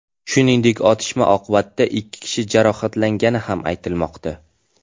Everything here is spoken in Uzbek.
Shuningdek, otishma oqibatida ikki kishi jarohatlangani ham aytilmoqda.